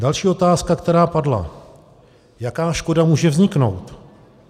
Další otázka, která padla: Jaká škoda může vzniknout?